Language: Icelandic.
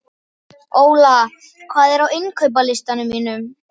Óla, hvað er á innkaupalistanum mínum?